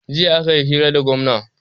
jiya ne aka yi hira da gwamna